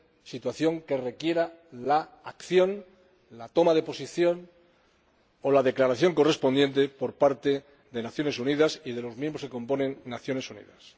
situación que requiere la acción, la toma de posición o la declaración correspondiente por parte de Naciones Unidas y de los miembros que componen Naciones Unidas.